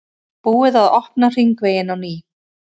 Búið að opna hringveginn á ný